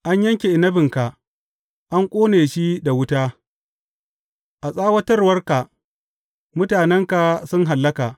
An yanke inabinka, an ƙone shi da wuta; a tsawatawarka mutanenka sun hallaka.